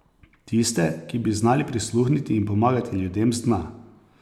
Tiste, ki bi znali prisluhniti in pomagati ljudem z dna ...